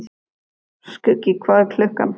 Skuggi, hvað er klukkan?